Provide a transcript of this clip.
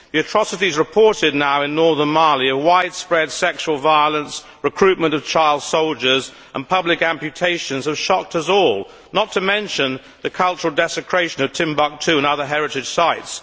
The atrocities reported now in northern Mali of widespread sexual violence, recruitment of child soldiers and public amputations have shocked us all, not to mention the cultural desecration of Timbuktu and other heritage sites.